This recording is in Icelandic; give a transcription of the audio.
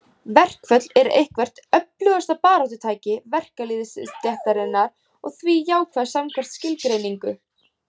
Verkföll eru eitthvert öflugasta baráttutæki verkalýðsstéttarinnar og því jákvæð samkvæmt skilgreiningu.